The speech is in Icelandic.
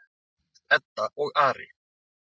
Edda og Ari.